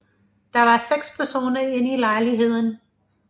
Der var seks personer inde i lejligheden